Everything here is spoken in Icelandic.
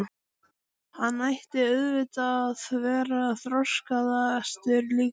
Hann ætti auðvitað að vera þroskaðastur líka.